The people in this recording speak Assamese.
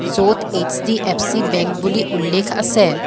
য'ত এইচ_ডি_এফ_চি বেংক বুলি উল্লেখ আছে।